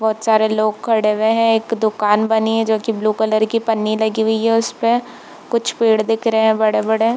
बहुत सारे लोग खड़े हुए है एक दुकान बनी हुई है जो की ब्लू कलर की पन्नी लगी हुई है उसपे कुछ पेड़ दिख रहे है बड़े बड़े।